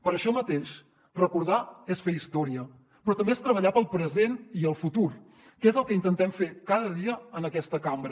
per això mateix recordar és fer història però també és treballar pel present i el futur que és el que intentem fer cada dia en aquesta cambra